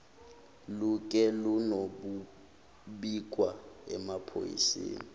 luke luyobikwa emaphoyiseni